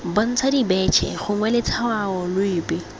bontsha dibetšhe gongwe letshwao lepe